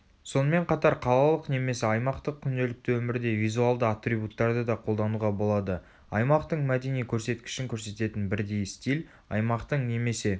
сонымен қатар қалалық немесе аймақтық күнделікті өмірде визуалды атрибуттарды да қолдануға болады аймақтың мәдени көрсеткішін көрсететін бірдей стиль аймақтың немесе